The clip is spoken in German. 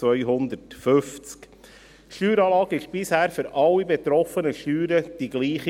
Die Steueranlage war bisher im Kanton Bern für alle betroffenen Steuern dieselbe.